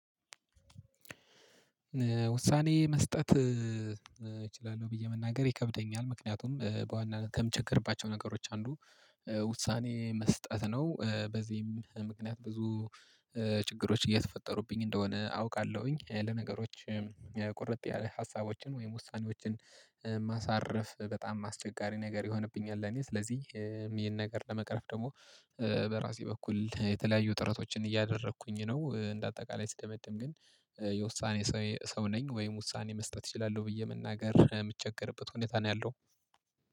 ውሳኔ መስጠት እችላለሁ ብዬ መናገር ይከብደኛል ምክንያቱም በዋና ከምቸገርባቸው ነገሮች አንዱ ውሳኔ መስጠት ነው። በዚህም ምክንያት ብዙ ችግሮች እየተፈጠሩብኝ እንደሆነ አውቃለሁኝ። ለነገሮችም ቁርጥ ያለ ሀሳቦችን ወይም ውሳኔዎችን ማሳረፍ በጣም አስቸጋሪ ነገር ይሆንብኛል። እኔ ስለዚህ ይሄን ነገር ለመቅረፍ ደግሞ በራሴ በኩል የተለያዩ ጥረቶችን እያደረኩኝ ነው። እንደ አጠቃላይ ስደመድም ግን የውሳኔ ሰው ነኝ ወይም ውሳኔ መስጠት እችላለሁ ብዬ መናገር የምቸገርበት ሁኔታ ነው ያለው